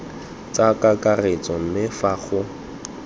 tsa kakaretso mme fa go